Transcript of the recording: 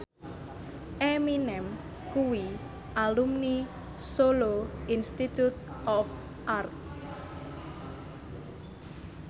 Eminem kuwi alumni Solo Institute of Art